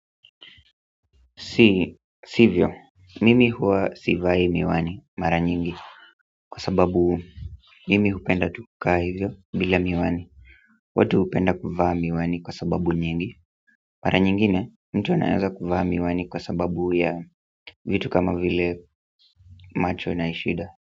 Si, sivyo, mimi huwa sivai miwani mara nyingi kwa sababu mimi hupenda tu kukaa hivyo bila miwani watu hupenda kuvaa miwani kwa sababu nyingi mara nyingine, mtu anaweza kuvaa miwani kwa sababu ya vitu kama vile macho na ishida.